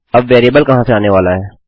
अब वेरिएबल कहाँ से आने वाला है